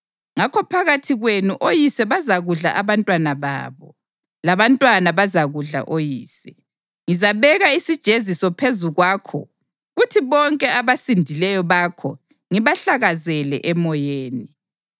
Ngakho phakathi kwenu oyise bazakudla abantwana babo, labantwana bazakudla oyise. Ngizabeka isijeziso phezu kwakho kuthi bonke abasindileyo bakho ngibahlakazele emoyeni.